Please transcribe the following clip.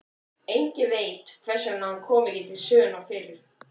Enginn veit hvers vegna hann kom ekki til sögunnar fyrr.